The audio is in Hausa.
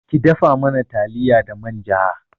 Ki dafa mana taliya da manja